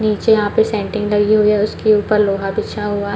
नीचे यहाँ पे सेंटिंग लगी हुई है उसके ऊपर लोहा बिछा हुआ --